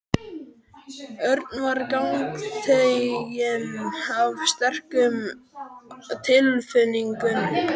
Örn var gagntekinn af sterkum tilfinningum.